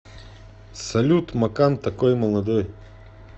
салют макан такой молодой